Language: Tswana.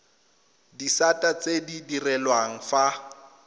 disata tse di direlwang fa